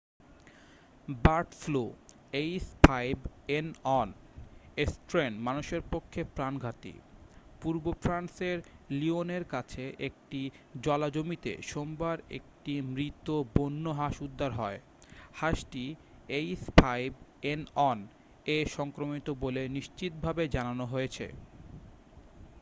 Bird ফ্লুর h5n1 strain মানুষের পক্ষে প্রাণঘাতী। পূর্ব ফ্রান্সের লিওনের কাছে একটি জলাজমিতে সোমবার একটি মৃত বন্য় হাঁস উদ্ধার হয়। হাঁসটি h5n1 এ সংক্রমিত বলে নিশ্চিত ভাবে জানানো হয়েছে।ে